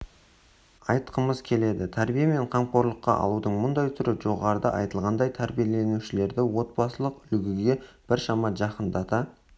айтқымыз келеді тәрбие мен қамқорлыққа алудың мұндай түрі жоғарыда айтылғандай тәрбиеленушілерді отбасылық үлгіге біршама жақындата